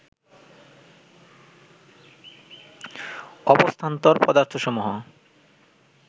অবস্থান্তর পদার্থসমূহ